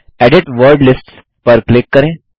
edit word lists पर click करें